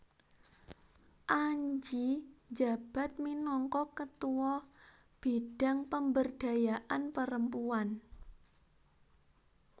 Angie njabat minangka Ketua Bidang Pemberdayaan Perempuan